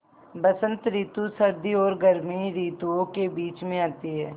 बसंत रितु सर्दी और गर्मी रितुवो के बीच मे आती हैँ